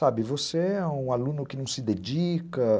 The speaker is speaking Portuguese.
Sabe, você é um aluno que não se dedica.